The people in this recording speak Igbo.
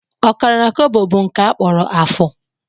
Ọkara kobo bụ nke a kpọrọ afụ